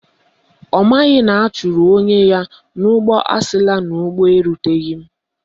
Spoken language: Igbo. Ọ maghị na ọ chụrụ onwe ya n'ụgbọ asila n'ụgbọ eruteghi ya.